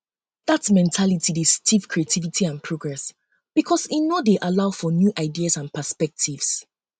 um dat mentality dey stifle creativity and progress because e um no dey um allow for new ideas and perspectives